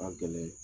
Ka gɛlɛn